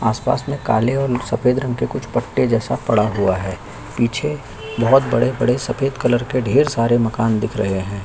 आसपास में काले और सफेद रंग के कुछ पट्टे जैसा पड़ा हुआ है पीछे बहोत बड़े-बड़े सफेद कलर के ढ़ेर सारे मकान दिख रहै है।